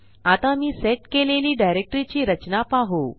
आता मी सेट केलेली डायरेक्टरी ची रचना पाहू